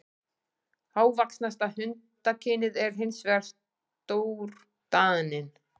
Hávaxnasta hundakynið er hins vegar stórdaninn.